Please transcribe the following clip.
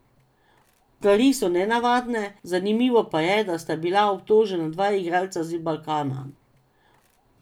Stvari so nenavadne, zanimivo pa je, da sta bila obtožena dva igralca z Balkana.